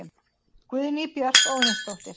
Guðný Björk Óðinsdóttir